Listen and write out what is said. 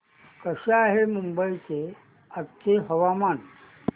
कसे आहे मुंबई चे आजचे हवामान